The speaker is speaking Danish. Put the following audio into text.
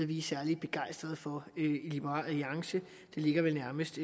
vi er særlig begejstret for i liberal alliance det ligger vel nærmest